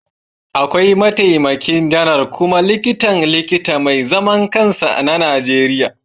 Akwai Mataimakin Janar kuma Likitan Likita mai zaman kansa na Najeriya